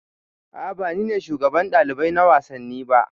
A'a ba ni ne shugaban ɗalibai na wasanni ba